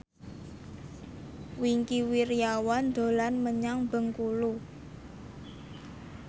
Wingky Wiryawan dolan menyang Bengkulu